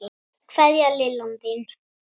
Kveðja, Lillan þín.